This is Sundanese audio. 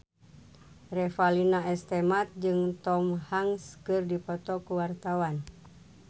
Revalina S. Temat jeung Tom Hanks keur dipoto ku wartawan